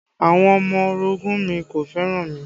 Àwọn ọmọ orogun mi kò fẹ́ràn mi